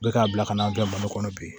Bɛɛ k'a bila ka n'a bila malo kɔnɔ bi